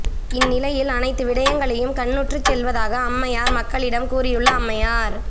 இந்நிலையில் அனைத்து விடயங்களையும் கண்ணுற்றுச் செல்வதாக அம்மையார் மக்களிடம் கூறியுள்ள அம்மையார்